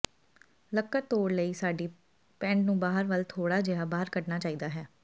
ਲੱਕੜ ਤੋੜ ਲਈ ਸਾਡੀ ਪੈਂਟ ਨੂੰ ਬਾਹਰ ਵੱਲ ਥੋੜ੍ਹਾ ਜਿਹਾ ਬਾਹਰ ਕੱਢਣਾ ਚਾਹੀਦਾ ਹੈ